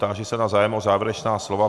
Táži se na zájem o závěrečná slova.